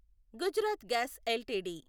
Gujarat gas LTD